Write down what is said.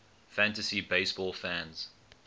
fantasy baseball fans